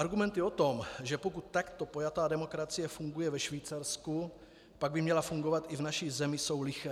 Argumenty o tom, že pokud takto pojatá demokracie funguje ve Švýcarsku, pak by měla fungovat i v naší zemi, jsou liché.